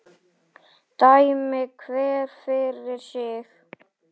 Dæmi hver fyrir sig.